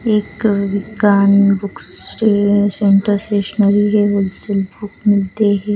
एक विज्ञान book centre stationery के होलसेल बुक मिलते हैं.